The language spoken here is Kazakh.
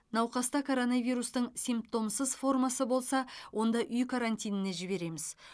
науқаста коронавирустың симптомсыз формасы болса онда үй карантиніне жібереміз